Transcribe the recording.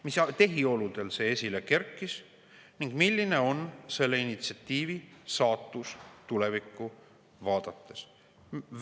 Mis tehioludel see esile kerkis ning milline on selle initsiatiivi saatus tulevikku vaadates?